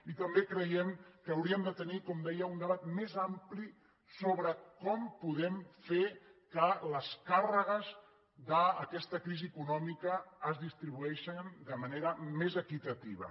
i també creiem que hauríem de tenir com deia un debat més ampli sobre com podem fer que les càrregues d’aquesta crisi econòmica es distribueixin de manera més equitativa